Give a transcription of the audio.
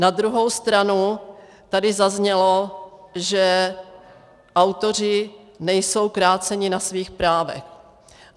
Na druhou stranu tady zaznělo, že autoři nejsou kráceni na svých právech.